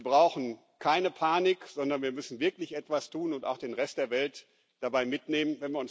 Wir brauchen keine Panik, sondern wir müssen wirklich etwas tun und auch den Rest der Welt dabei mitnehmen.